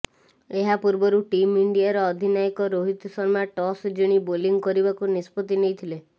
ଏହା ପୂର୍ବରୁ ଟିମ ଇଣ୍ଡିଆର ଅଧିନାୟକ ରୋହିତ ଶର୍ମା ଟସ୍ ଜିଣି ବୋଲିଂ କରିବାକୁ ନିଷ୍ପତ୍ତି ନେଇଥିଲେ